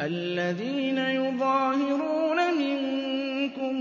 الَّذِينَ يُظَاهِرُونَ مِنكُم